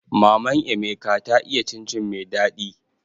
Maman emeka ta iya cin cin mai daɗi